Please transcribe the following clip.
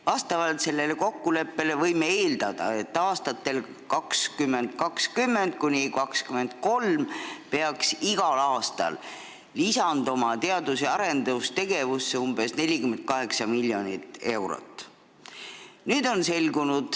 Vastavalt sellele kokkuleppele võime eeldada, et aastatel 2020–2023 peaks igal aastal lisanduma teadus- ja arendustegevusse umbes 48 miljonit eurot.